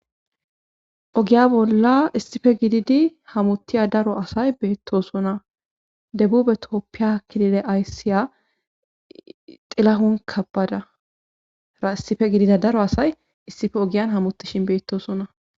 ogiya bolla issife gididi hamuttiya daro asay beettosona debube tooppiya kilile ayssiya xilahun kabbada ra issife gidida daro asay issife ogiyan hamuttishin beettosona